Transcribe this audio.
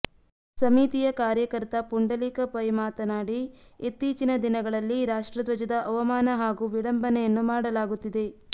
ಸಮಿತಿಯ ಕಾರ್ಯಕರ್ತ ಪುಂಡಲೀಕ ಪೈ ಮಾತನಾಡಿ ಇತ್ತೀಚಿನ ದಿನಗಳಲ್ಲಿ ರಾಷ್ಟ್ರಧ್ವಜದ ಅವಮಾನ ಹಾಗೂ ವಿಡಂಬನೆಯನ್ನು ಮಾಡಲಾಗುತ್ತಿದೆ